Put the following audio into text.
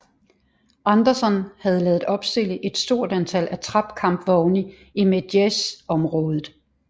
Anderson havde ladet opstille et stort antal attrap kampvogne i Medjez området